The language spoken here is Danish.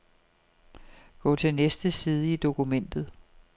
Gå til næste side i dokumentet.